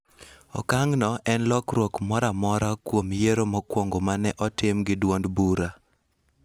Okang'no en lokruok moro amora kuom yiero mokwongo ma ne otim gi duond bura